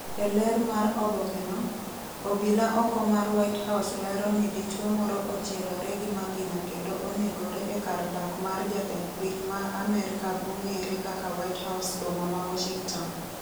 e ler mar obokeno, obila oko mar white house lero ni dichuo moro ochielore gi magina kendo onegore e kar dak mar jatend piny ma amerka mong'ere kaka whitehouse boma ma Washington